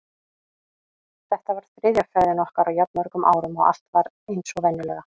Þetta var þriðja ferðin okkar á jafn mörgum árum og allt var eins og venjulega.